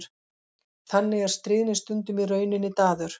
Þannig er stríðni stundum í rauninni daður.